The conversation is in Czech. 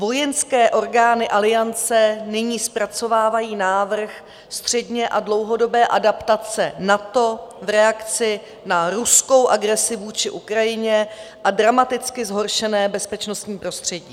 Vojenské orgány Aliance nyní zpracovávají návrh středně- a dlouhodobé adaptace NATO v reakci na ruskou agresi vůči Ukrajině a dramaticky zhoršené bezpečnostní prostředí.